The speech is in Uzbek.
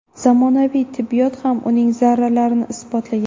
Zamonaviy tibbiyot ham uning zararlarini isbotlagan.